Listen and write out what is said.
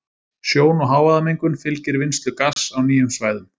Sjón- og hávaðamengun fylgir vinnslu gass á nýjum svæðum.